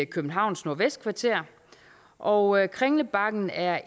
københavns nordvestkvarter og kringlebakken er